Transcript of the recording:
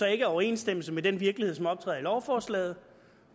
er i overensstemmelse med den virkelighed som optræder i lovforslaget